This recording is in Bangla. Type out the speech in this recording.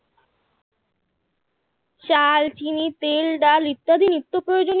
চাল চিনি তেল ডাল ইত্যাদি নিত্য প্রয়োজনীয়